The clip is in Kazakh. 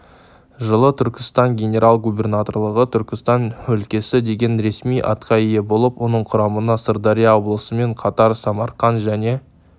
жылы түркістан генерал губернаторлығы түркістан өлкесі деген ресми атқа ие болып оның құрамына сырдария облысымен қатар самарқан және